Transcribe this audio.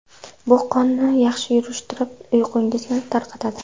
Bu qonni yaxshi yurishtirib, uyqungizni tarqatadi.